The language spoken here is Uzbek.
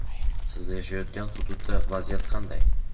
siz yashayotgan hududda vaziyat qanday?.